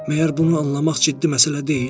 Məgər bunu anlamaq ciddi məsələ deyil?